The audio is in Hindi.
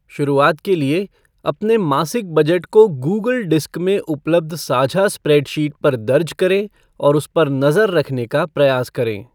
शुरुआत के लिए, अपने मासिक बजट को गूगल डिस्क में उपलब्ध साझा स्प्रेडशीट पर दर्ज करें और उस पर नज़र रखने का प्रयास करें।